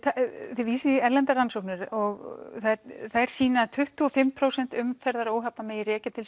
þið vísið í erlendar rannsóknir og þær sýna að tuttugu og fimm prósent umferðaróhappa megi rekja til